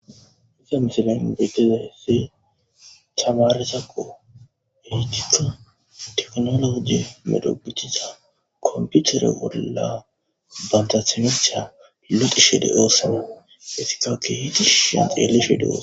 Isa misila n beteza hese chamaresaqo hehigita teknologe medhogucthiza komputere bolla bantathimetcha luqi shede oossane hesikakki hiidishi shen xeele shede os.